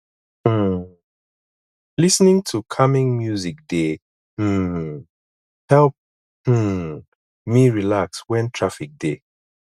um lis ten ing to calming music dey um help um me relax wen traffic dey